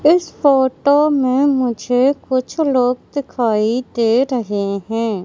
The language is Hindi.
इस फोटो में मुझे कुछ लोग दिखाई दे रहे हैं।